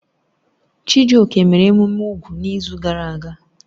Chijioke mere emume úgwù n'izu gara aga.